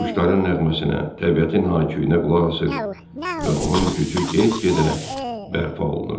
Quşların nəğməsinə, təbiətin hayküyünə qulaq asır və onun gücü get-gedə bərpa olunurdu.